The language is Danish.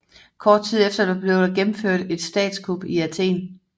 Kort tid efter blev der gennemført et statskup i Athen